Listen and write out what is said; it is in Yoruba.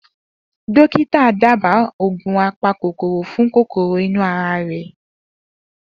Dokita dábàá oògùn apa kòkòrò fún kòkòrò ínu ara rẹ̀